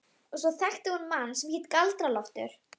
Og svo þekkti hún mann sem hét Galdra-Loftur.